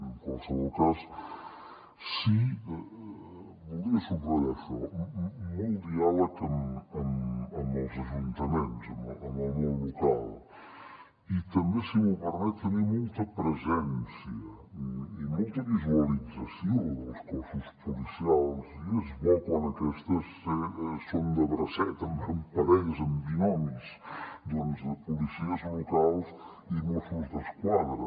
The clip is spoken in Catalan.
en qualsevol cas sí que voldria subratllar això molt diàleg amb els ajuntaments amb el món local i també si m’ho permet tenir molta presència i molta visualització dels cossos policials i és bo quan aquestes són de bracet amb parelles amb binomis doncs de policies locals i mossos d’esquadra